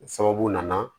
O sababu nana